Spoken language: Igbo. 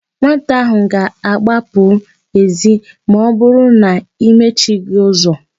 Nwata áhụ̀ ga-agbapụ èzí ma ọbụrụ na i mechighị ụzọ.